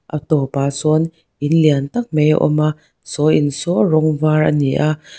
a tawp ah sawn in lian tâk mai a awm a saw in saw rawng var ani a.